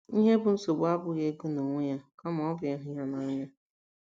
Ihe bụ́ nsogbu abụghị ego n’onwe ya, kama ọ bụ ịhụ ya n’anya.